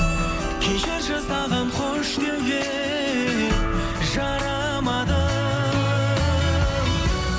кешірші саған қош деуге жарамадым